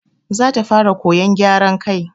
Za ta fara koyan gyara kai.